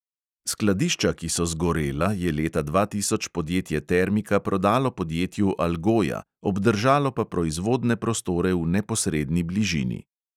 Skladišča, ki so zgorela, je leta dva tisoč podjetje termika prodalo podjetju algoja, obdržalo pa proizvodne prostore v neposredni bližini.